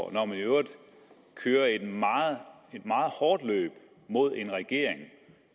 og når man i øvrigt kører et meget hårdt løb mod en regering